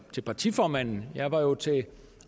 til partiformanden jeg var jo til